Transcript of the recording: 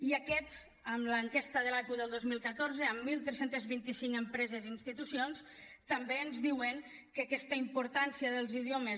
i aquests en l’enquesta de l’aqu del dos mil catorze amb tretze vint cinc empreses i institucions també ens diuen que aquesta importància dels idiomes